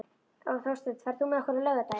Þórsteinn, ferð þú með okkur á laugardaginn?